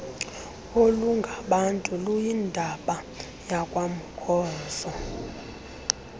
olungabantu luyindaba yakwamkhozo